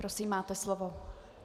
Prosím, máte slovo.